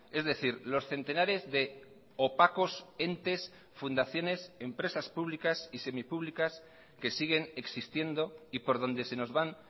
es decir los centenares de opacos entes fundaciones empresas públicas y semipúblicas que siguen existiendo y por donde se nos van